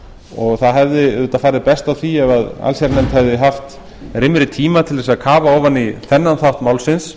og það hefði auðvitað farið best á því ef allsherjarnefnd hefði haft rýmri tíma til að kafa ofan í þennan þennan þátt málsins